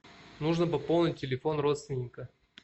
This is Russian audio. нужно пополнить телефон родственника